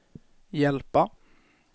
hjälpa